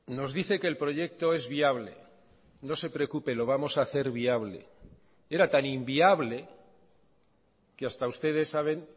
nos dice que el proyecto es viable no se preocupe lo vamos a hacer viable era tan inviable que hasta ustedes saben